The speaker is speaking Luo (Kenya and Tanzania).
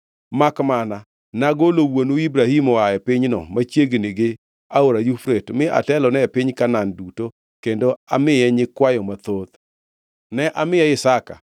Makmana nagolo wuonu Ibrahim oa e pinyno machiegni gi Aora Yufrate mi atelone e piny Kanaan duto kendo amiye nyikwayo mathoth. Ne amiye Isaka,